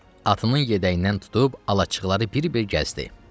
Atının yəhərindən tutub alacıqları bir-bir gəzdi.